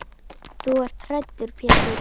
Þú ert hræddur Pétur.